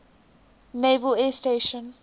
naval air station